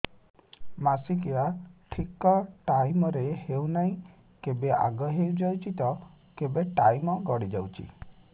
ମାସିକିଆ ଠିକ ଟାଇମ ରେ ହେଉନାହଁ କେବେ ଆଗେ ହେଇଯାଉଛି ତ କେବେ ଟାଇମ ଗଡି ଯାଉଛି